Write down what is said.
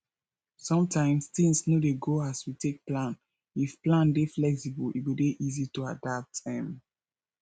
sometimes things no dey go as we take plan if plan dey flexible e go dey easy to adapt um